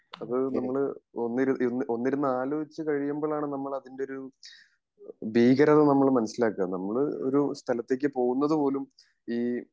അത് നമ്മള് ഒന്നിരു ഒന്നിരുന്നു ആലോചിച്ച് കഴിയുമ്പോളാണ് നമ്മൾ അതിൻ്റെ ഒരു ഭീകരത നമ്മൾ മനസിലാകെ നമ്മൾ ഒരു സ്ഥലത്തേക് പോകുന്നത് പോലും ഈ